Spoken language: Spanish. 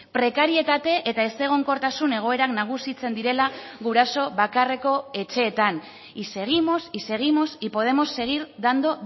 prekarietate eta ezegonkortasun egoerak nagusitzen direla guraso bakarreko etxeetan y seguimos y seguimos y podemos seguir dando